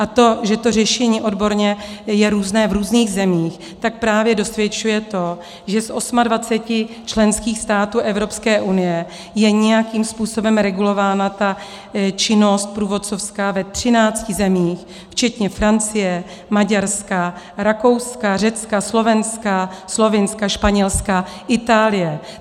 A to, že to řešení odborně je různé v různých zemích, tak právě dosvědčuje to, že z 28 členských států Evropské unie je nějakým způsobem regulována ta činnost průvodcovská ve 13 zemích včetně Francie, Maďarska, Rakouska, Řecka, Slovenska, Slovinska, Španělska, Itálie.